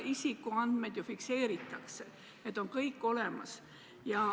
Isikuandmed ju fikseeritakse, need on kõik olemas.